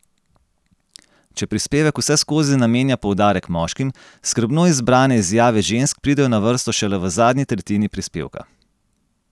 Če prispevek vseskozi namenja poudarek moškim, skrbno izbrane izjave žensk pridejo na vrsto šele v zadnji tretjini prispevka.